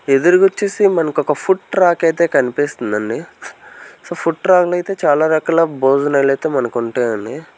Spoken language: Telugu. ఎదురుగా వచ్చేసి మనక ఒక ఫుడ్ ట్రాక్ అయితే కనిపిస్తుందండి సో ఫుట్ ట్రక్ లో అయితే చాలా రకాల భోజనాలు అయితే మనకు ఉంటాయండి.